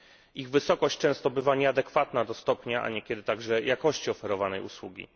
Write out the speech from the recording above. Ich wysokość często bywa nieadekwatna do stopnia, a niekiedy także jakości oferowanej usługi.